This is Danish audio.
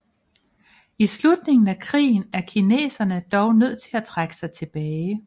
I slutningen af krigen er kineserne dog nødt til at trække sig tilbage